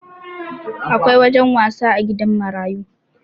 Akwai wajen wasa a gidan marayu